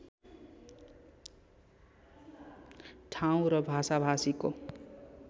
ठाउँ र भाषाभाषीको